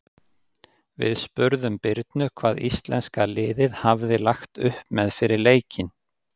Við spurðum Birnu hvað íslenska liðið hafði lagt upp með fyrir leikinn.